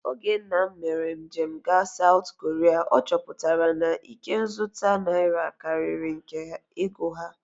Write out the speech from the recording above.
Oge nna m mere njem gaa Saụt Koria, ọ chọpụtara na ikenzụta naira karịrị nke ego ha